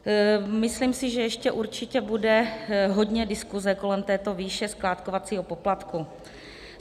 Myslím si, že ještě určitě bude hodně diskuze kolem této výše skládkovacího poplatku.